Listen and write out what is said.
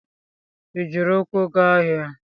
Ị jiri ukwu ga ahịa?